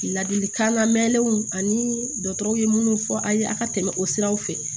Ladilikan lamɛnw ani dɔgɔtɔrɔw ye minnu fɔ aw ye a ka tɛmɛ o siraw fɛ